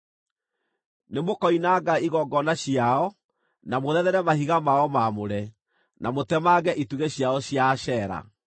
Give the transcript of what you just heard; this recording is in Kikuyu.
Nĩmũkoinanga igongona ciao, na mũthethere mahiga mao maamũre, na mũtemange itugĩ ciao cia Ashera.